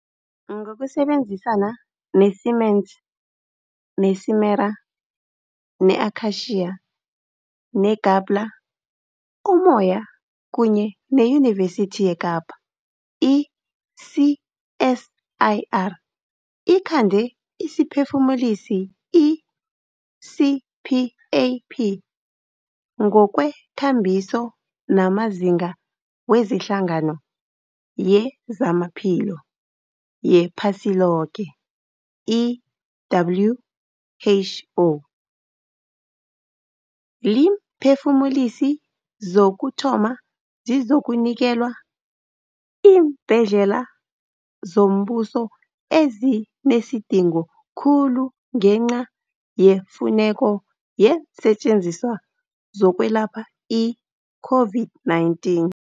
Ngokusebenzisana ne-Siemens, ne-Simera, ne-Akacia, ne-Gabler, Umoya kunye neYunivesithi yeKapa, i-CSIR ikhande isiphefumulisi i-CPAP ngokwekambiso namazinga weHlangano yezamaPhilo yePhasiloke, i-WHO. Iimphefumulisi zokuthoma zizokunikelwa iimbhedlela zombuso ezinesidingo khulu ngenca yefuneko yeensetjenziswa zokwelapha i-COVID-19.